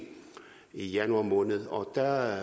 januar måned og der